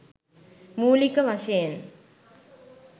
මූළික වශයෙන්